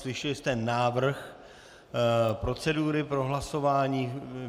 Slyšeli jste návrh procedury pro hlasování.